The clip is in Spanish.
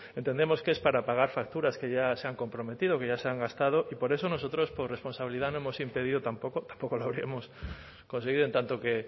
entendemos que es para pagar facturas que ya se han comprometido que ya se han gastado y por eso nosotros por responsabilidad no hemos impedido tampoco tampoco lo habríamos conseguido en tanto que